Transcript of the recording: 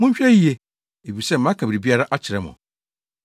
Monhwɛ yiye, efisɛ maka biribiara akyerɛ mo!